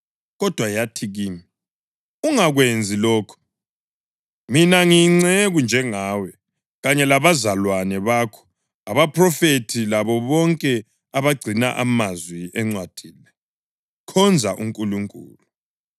Kodwa yathi kimi, “Ungakwenzi lokhu! Mina ngiyinceku njengawe kanye labazalwane bakho abaphrofethi labo bonke abagcina amazwi encwadi le. Khonza uNkulunkulu!”